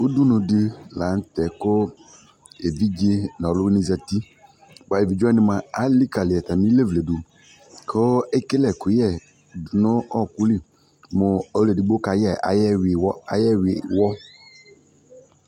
Udunudι la nʋ tɛ kʋ evidze nʋ ɔlʋvini zati bʋa evidzewani mua, alikali atami ilevletsi dʋ kʋ ekele ɛkʋyɛ dʋ nʋ ɔɔkʋ lι nʋ ɔlʋ edigbɔ kayɛ ayʋ ɛwiwɔ ayʋ ɛwiwɔ